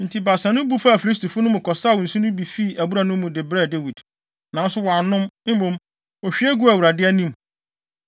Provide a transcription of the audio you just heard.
Enti baasa no bu faa Filistifo no mu kɔsaw nsu no bi fii abura no mu, de brɛɛ Dawid. Nanso wannom. Mmom, ohwie guu Awurade anim.